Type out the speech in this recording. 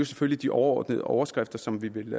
selvfølgelig de overordnede overskrifter som vi vil